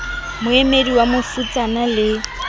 ho moedi wa bofutsana le